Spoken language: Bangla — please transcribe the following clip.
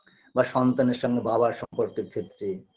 বা সন্তানের সঙ্গে বাবার সম্পর্কের ক্ষেত্রে